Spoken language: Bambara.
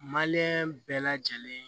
bɛɛ lajɛlen